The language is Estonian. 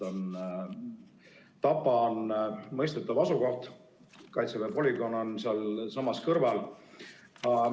Tapa on mõistetav asukoht, Kaitseväe polügoon on sealsamas kõrval.